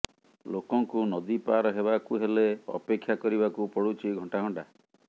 ଲୋକଙ୍କୁ ନଦୀ ପାର ହେବାକୁ ହେଲେ ଅପେକ୍ଷା କରିବାକୁ ପଡୁଛି ଘଣ୍ଟାଘଣ୍ଟା